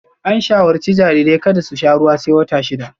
An shawarci jarirai kada su sha ruwa sai wata shida